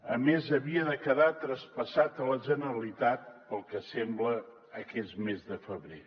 a més havia de quedar traspassat a la generalitat pel que sembla aquest més de febrer